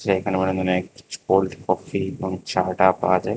এইখানে মনে অনেক কোল্ড কফি এবং চা টা পাওয়া যায়।